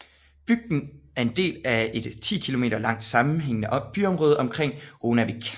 Bygden er en del af et 10 km langt sammenhængende byområde omkring Runavík